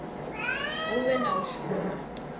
hu vhe na u shuma